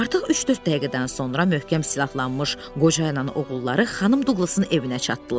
Artıq üç-dörd dəqiqədən sonra möhkəm silahlanmış qocayla oğulları xanım Duqlasın evinə çatdılar.